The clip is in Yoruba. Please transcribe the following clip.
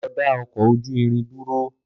Lọ da ọkọ ojú irin dúró